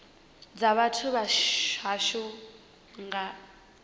dza vhathu vha hashu nga